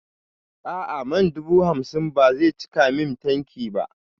A'a man dubu hamsin ba zai cika min tanki ba